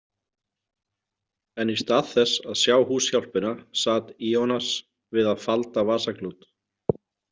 En í stað þess að sjá húshjálpina sat Ionas við að falda vasaklút.